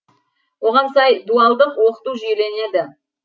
оған сай дуалдық оқыту жүйеленеді